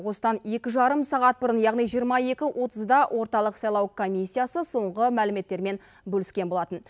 осыдан екі жарым сағат бұрын яғни жиырма екі отызда орталық сайлау комиссиясы соңғы мәліметтермен бөліскен болатын